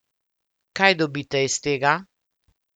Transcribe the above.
Kaj dobite iz tega?